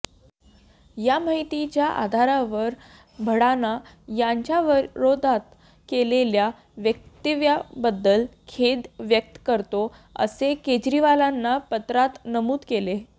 या माहितीच्या आधारावर भडाना यांच्याविरोधात केलेल्या वक्तव्याबद्दल खेद व्यक्त करतो असे केजरीवालांनी पत्रात नमूद केले